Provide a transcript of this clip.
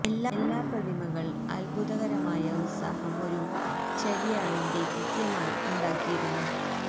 എല്ലാ പ്രതിമകൾ അത്ഭുതകരമായ ഉത്സാഹം ഒരു ചര്യയാണ് ന്റെ കൃത്യമായി ഉണ്ടാക്കിയിരുന്നു